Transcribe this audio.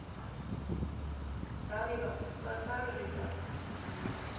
Daníval, hvaða dagur er í dag?